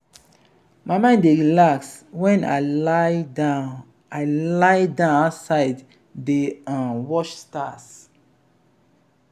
my mind dey relax wen i lie-down i lie-down outside dey um watch stars.